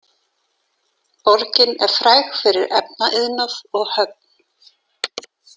Borgin er fræg fyrir efnaiðnað og höfn.